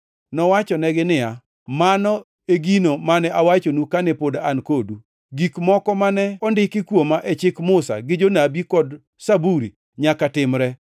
Nowachonegi niya, “Mano e gino mane awachonu kane pod an kodu: Gik moko mane ondiki kuoma e Chik Musa gi Jonabi kod Zaburi, nyaka timre.”